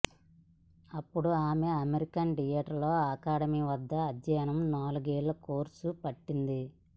అప్పుడు ఆమె American theatre academy వద్ద అధ్యయనం నాలుగేళ్ల కోర్సు పట్టింది